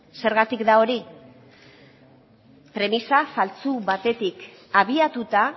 zergatik da hori premisa faltsu batetik abiatuta